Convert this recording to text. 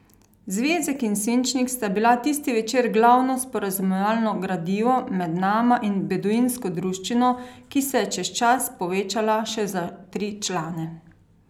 Zvezek in svinčnik sta bila tisti večer glavno sporazumevalno gradivo med nama in beduinsko druščino, ki se je čez čas povečala še za tri člane.